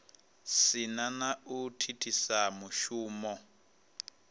si na u thithisa mushumo